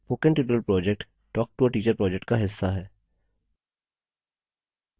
spoken tutorial project talktoateacher project का हिस्सा है